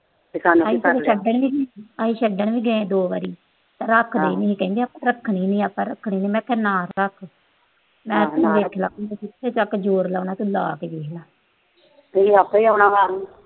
ਅਸੀਂ ਛੱਡਣ ਵੀ ਗਏ ਆ ਦੋ ਵਾਰੀ। ਰੱਖਦੇ ਨੀ। ਕਹਿੰਦੇ ਆਪਾ ਰੱਖਣੀ ਨੀ, ਰੱਖਣੀ ਨੀ, ਮੈਂ ਕਿਹਾ ਨਾ ਰੱਖ। ਤੂੰ ਜਿੱਥੇ ਤੱਕ ਜੋਰ ਲਾਉਣਾ, ਲਾ ਕੇ ਦੇਖ ਲਾ।